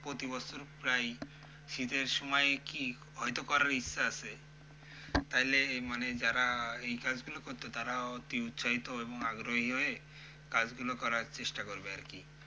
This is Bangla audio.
প্রতিবছর প্রায়ই শীতের সময় কি হয়তো করার ইচ্ছা আছে তাহলে মানে যারা এই কাজগুলো করত তারা অতি উৎসাহিত এবং আগ্রহী হয়ে কাজগুলো করার চেষ্টা করবে আরকি।